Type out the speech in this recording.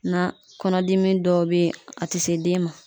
Na kɔnɔdimi dɔw be ye a te se den ma